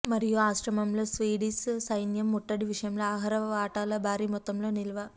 మరియు ఆశ్రమంలో స్వీడిష్ సైన్యం ముట్టడి విషయంలో ఆహార వాటాల భారీ మొత్తంలో నిల్వ